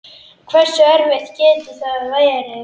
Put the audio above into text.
Hversu erfitt getur það verið?